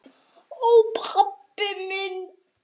Ó, pabbi minn.